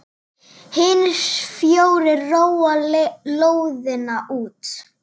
Hinir fjórir róa lóðina út.